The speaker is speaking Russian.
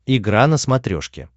игра на смотрешке